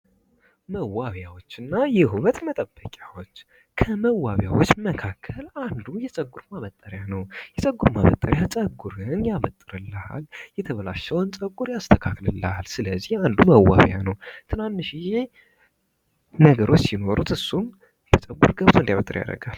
መዋቢያዎች እና የውበት መጠበቂያዎች ከመዋቢያዎች መካከል አንዱ የፀጉር ማበጠሪያ ነው። የፀጉር መጠሪያ ጸጉር ያበጥርልናል የተበላሸውን ፀጉር ያስተካክልናል ስለዚህ አንዱ መዋቢያ ነው። ትናንሽዬ ነገሮች ሲኖሩ በፀጉር ገብቶ እንዲያበጠር ያደርጋል።